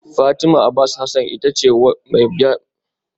Fatima Abbas Hasan ita ce mai bayar da labarai da na fi so a NTA